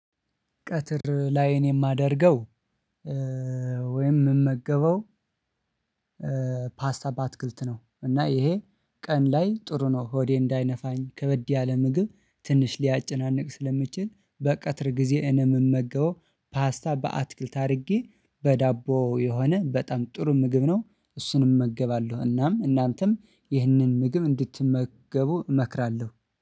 ቀትር ላይ እኔ የማደርገው ወይም የምመገበው ፓስታ በአትክልት ነው። እና ይሄ ቀን ላይ ጥሩ ነው ሆዴ እንዳይነፋኝ ከበድ ያለ ምግብ ትንሽ ሊያጨናንቅ ስለሚችል በቀጥር ጊዜ እኔ ምመገበው ፓስታ በአትክልት አድርጌ በዳቦ የሆነ በጣም ጥሩ ምግብ ነው እሱን እመገባለሁ። እናም እናንተም ይህንን ምግብ እንድትመገቡ እመክራለሁ